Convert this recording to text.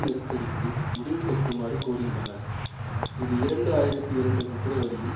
நெருக்கடிக்கு முடிவுகட்டுமாறு கோருகின்றனர் இது இரண்டு ஆயிரத்தி இரண்டு பிப்பிரவரியில்